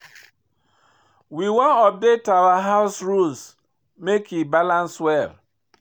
We wan update our house rules make e balance well.